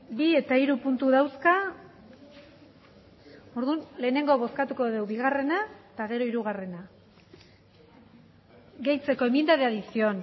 bi eta hiru puntu dauzka orduan lehenengo bozkatuko dugu bigarrena eta gero hirugarrena gehitzeko enmienda de adición